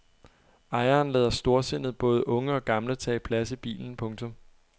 Ejeren lader storsindet både unge og gamle tage plads i bilen. punktum